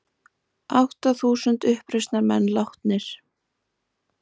Átta þúsund uppreisnarmenn látnir